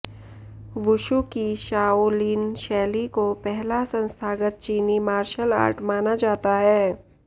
wushu की Shaolin शैली को पहला संस्थागत चीनी मार्शल आर्ट माना जाता है